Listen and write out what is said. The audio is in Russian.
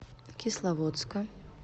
кисловодска